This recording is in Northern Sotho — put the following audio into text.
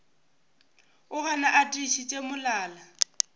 o gana a tiišitše molala